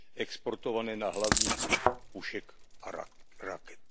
exportované na hlavních pušek a raket.